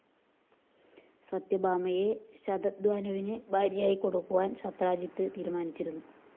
സത്യഭാമയെ ശതധന്വാവിന്‌ ഭാര്യയായി കൊടുക്കാന്‍ സത്രാജിത്ത്‌ തീരുമാനിച്ചിരുന്നു